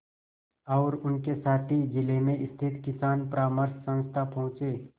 और उनके साथी जिले में स्थित किसान परामर्श संस्था पहुँचे